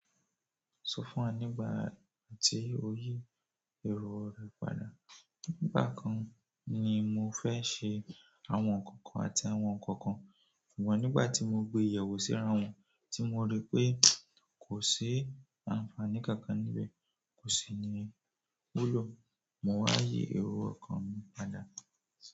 Sọ fún wa nígbà tí o yí èrò ọ̀rọ̀ padà. Nígbà kan ni mo fẹ́ ṣe àwọn nǹkan kan àti àwọn nǹkan kan, ṣùgbọ́n nígbà tí mo gbé yewo síra wọn, tí mo rí pé kò sí àǹfààní kankan níbẹ̀, kò sì ní wúlò, mo wá yí èrò okan mi padà.